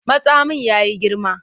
Matsamin ya yi girma.